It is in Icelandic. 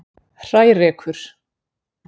Hrærekur